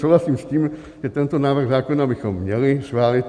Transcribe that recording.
Souhlasím s tím, že tento návrh zákona bychom měli schválit.